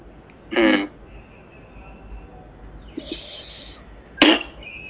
ഉം